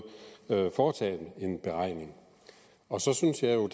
foretage en beregning og så synes jeg jo